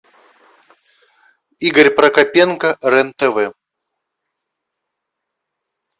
игорь прокопенко рен тв